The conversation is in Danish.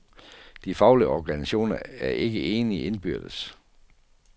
De faglige organisationer er ikke enige indbyrdes.